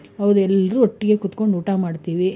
ಹೌದು, ಎಲ್ರು ಒಟ್ಟಿಗೆ ಕುತ್ಕೊಂಡು ಊಟ ಮಾಡ್ತೀವಿ.